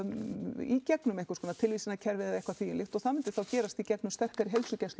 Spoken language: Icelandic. í gegnum einhverskonar tilvísunarkerfi eða eitthvað slíkt það myndi þá gerast í gegnum sterkari heilsugæslu